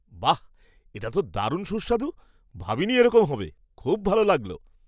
বাহ! এটা তো দারুণ সুস্বাদু, ভাবিনি এরকম হবে। খুব ভালো লাগলো।